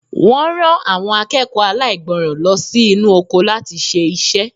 Wọ́n rán àwọn akẹ́kọ̀ọ́ aláìgbọràn lọ sí inú oko láti ṣe iṣẹ́.